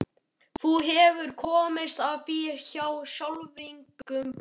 Þú hefur komist að því hjá sálfræðingnum?